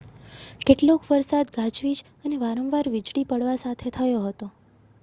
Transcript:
કેટલોક વરસાદ ગાજવીજ અને વારંવાર વીજળી પડવા સાથે થયો હતો